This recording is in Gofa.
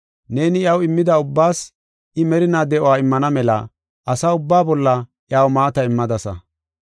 Neeni iyaw immida ubbaas I merinaa de7uwa immana mela asa ubbaa bolla iyaw maata immadasa.